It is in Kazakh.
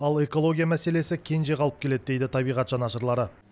ал экология мәселесі кенже қалып келеді дейді табиғат жанашырлары